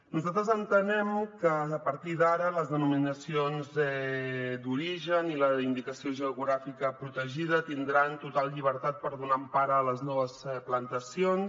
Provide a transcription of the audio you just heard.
nosaltres entenem que a partir d’ara les denominacions d’origen i la indicació geogràfica protegida tindran total llibertat per donar empara a les noves plantacions